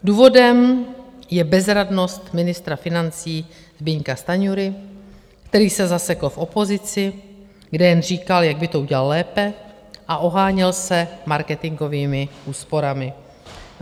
Důvodem je bezradnost ministra financí Zbyňka Stanjury, který se zasekl v opozici, kde jen říkal, jak by to udělal lépe, a oháněl se marketingovými úsporami.